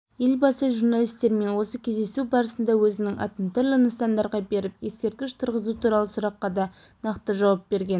елбасы журналистермен осы кездесуі барысында өзінің атын түрлі нысандарға беріп ескерткіш тұрғызу туралы сұраққа да нақты жауап берген